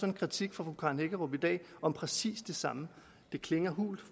en kritik fra fru karen hækkerup i dag om præcis det samme det klinger hult